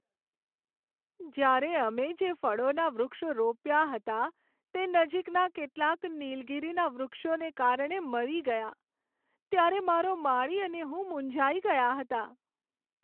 જ્યારે અમે જે ફળોના વૃક્ષો રોપ્યા હતા તે નજીકના કેટલાક નીલગિરીના વૃક્ષોને કારણે મરી ગયાં, ત્યારે મારો માળી અને હું મૂંઝાઈ ગયાં હતાં.